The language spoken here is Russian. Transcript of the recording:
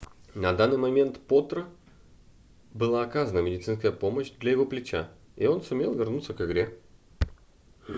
на данный момент потро была оказана медицинская помощь для его плеча и он сумел вернуться к игре